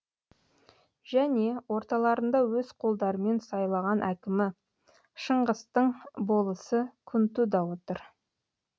және орталарында өз қолдарымен сайлаған әкімі шыңғыстың болысы күнту да отыр